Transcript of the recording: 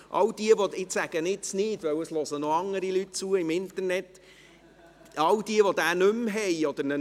All jene, die den Code nicht mehr haben – ich kann ihn jetzt hier nicht nennen, weil noch andere Leute im Internet zuhören – oder ihn nicht mehr finden: